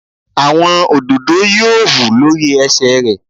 Àwọn òdòdó yóò hù lórí ẹsẹ̀ rẹ̀